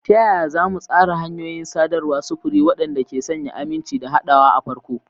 Ta yaya za mu tsara hanyoyin sadarwar sufuri waɗanda ke sanya aminci da haɗawa a farko?